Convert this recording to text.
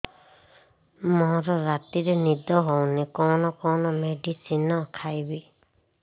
ମୋର ରାତିରେ ନିଦ ହଉନି କଣ କଣ ମେଡିସିନ ଖାଇବି